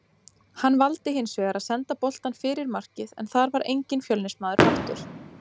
Hann valdi hinsvegar að senda boltann fyrir markið en þar var enginn Fjölnismaður mættur.